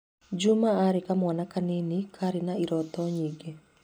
Juma aarĩ kamwana kanini karĩ na iroto nyingĩ.